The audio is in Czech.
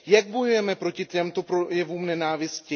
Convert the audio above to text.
Jak bojujeme proti těmto projevům nenávisti?